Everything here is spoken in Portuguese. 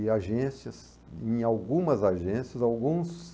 E agências, em algumas agências, alguns...